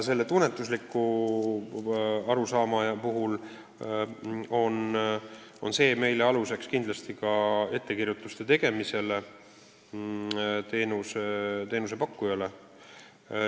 Selle tunnetusliku rahulolu põhjal me saame teenusepakkujale ettekirjutusi teha.